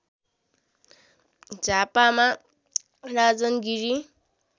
झापामा Rajan Giri